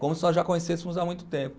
Como se nós já conhecêssemos há muito tempo.